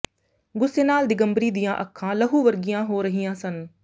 ਗੁੱਸੇ ਨਾਲ ਦਿਗੰਬਰੀ ਦੀਆਂ ਅੱਖਾਂ ਲਹੂ ਵਰਗੀਆਂ ਹੋ ਰਹੀਆਂ ਸਨ